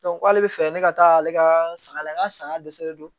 k'ale bɛ fɛ ne ka taa ale ka saga la n ka saga dɛsɛ don